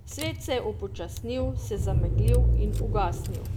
Svet se je upočasnil, se zameglil in ugasnil.